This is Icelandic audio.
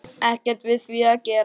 Ekkert við því að gera.